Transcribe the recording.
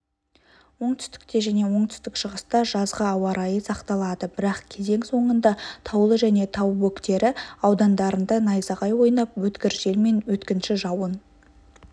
оңтүстікте және оңтүстік-шығыста жазғы ауа райы сақталады бірақ кезең соңында таулы және тау бөктері аудандарында найзағай ойнап өткір желмен өткінші жауын